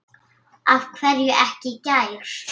Af hverju ekki í gær?